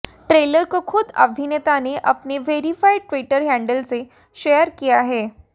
trailer को खुद अभिनेता ने अपने वैरिफाइड ट्विटर हैंडल से शेयर किया है